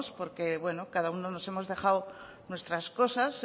porque cada uno nos hemos dejado nuestras cosas